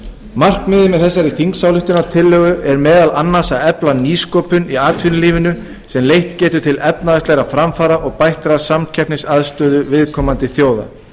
markmiðið með þessari þingsályktunartillögu er meðal annars það að efla nýsköpun í atvinnulífinu sem leitt getur til efnahagslegra framfara og bættrar samkeppnisaðstöðu viðkomandi þjóða